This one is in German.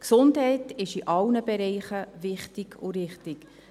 Gesundheit ist in allen Bereichen wichtig und richtig.